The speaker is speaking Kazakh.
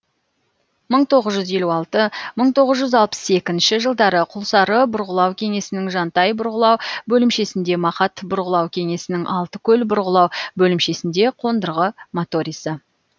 мың тоғыз жүз елу алты мың тоғыз жүз алпыс екінші жылдары құлсары бұрғылау кеңсесінің жантай бұрғылау бөлімшесінде мақат бұрғылау кеңсесінің алтыкөл бұрғылау бөлімшесінде қондырғы моторисі